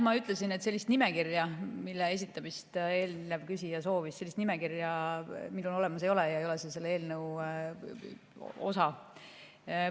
Ma ütlesin, et sellist nimekirja, mille esitamist eelnev küsija soovis, olemas ei ole ja see ei ole selle eelnõu osa.